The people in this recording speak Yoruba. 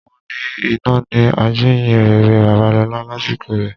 Wọ́n ni iná ni ajíyìnrere Babalọlá lásìkò rẹ.